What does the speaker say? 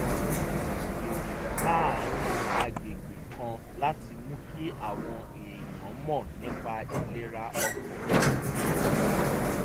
a ṣètò ìrìn láàárín agbègbè kan láti mú kí àwọn èèyàn mọ̀ nípa ìlera ọkàn àti ara